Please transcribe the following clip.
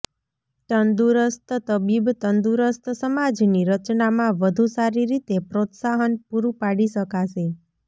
તંદુરસ્ત તબીબ તંદુરસ્ત સમાજની રચનામાં વધુ સારી રીતે પ્રોત્સાહન પુરુ પાડી શકાશે